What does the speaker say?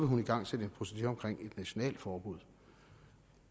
hun igangsætte en procedure omkring et nationalt forbud